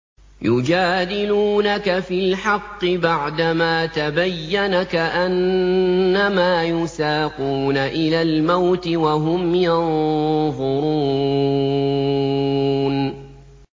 يُجَادِلُونَكَ فِي الْحَقِّ بَعْدَمَا تَبَيَّنَ كَأَنَّمَا يُسَاقُونَ إِلَى الْمَوْتِ وَهُمْ يَنظُرُونَ